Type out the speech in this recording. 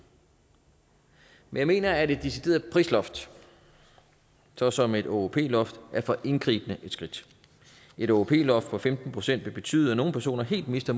men jeg mener at et decideret prisloft såsom et åop loft er for indgribende et skridt et åop loft på femten procent vil betyde at nogle personer helt mister